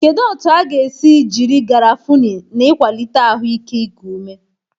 Kedu otu a ga-esi jiri garafuni na ịkwalite ahụike iku ume?